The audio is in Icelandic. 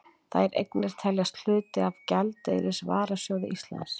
Þær eignir teljast hluti af gjaldeyrisvarasjóði Íslands.